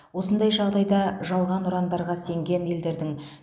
осындай жағдайда жалған ұрандарға сенген елдердің